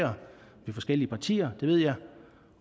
de forskellige partier det ved jeg